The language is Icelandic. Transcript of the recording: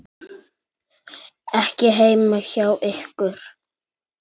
Ekki heima hjá ykkur.